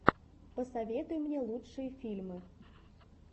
посоветуй мне лучшие фильмы